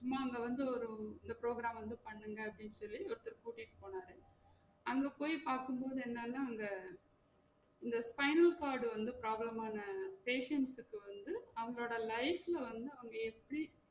நாங்க வந்து ஒரு இந்த program வந்து பண்ணுங்க அப்டின்னு சொல்லி ஒருத்தர் கூட்டிட்டு போனாரு அங்க போயி பாக்கும் போது என்னென்னா இந்த இந்த spinal cord டு வந்து problem ஆன patients க்கு வந்து அவங்களோட life ல வந்து அவங்க எப்டி